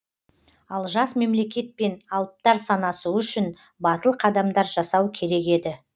ал жас мемлекетпен алыптар санасуы үшін батыл қадамдар жасау керек еді